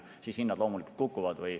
Kui toimub, siis hinnad loomulikult kukuvad.